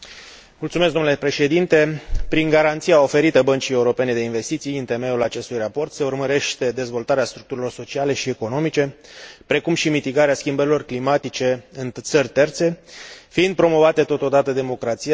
Prin garanția oferită Băncii Europene de Investiții, în temeiul acestui raport, se urmărește dezvoltarea structurilor sociale și economice, precum și atenuarea schimbărilor climatice în țări terțe, fiind promovate totodată democrația, statul de drept și drepturile omului.